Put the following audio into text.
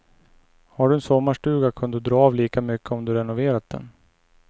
Har du en sommarstuga kan du dra av lika mycket om du renoverat den.